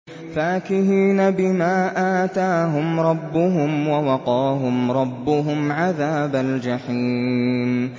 فَاكِهِينَ بِمَا آتَاهُمْ رَبُّهُمْ وَوَقَاهُمْ رَبُّهُمْ عَذَابَ الْجَحِيمِ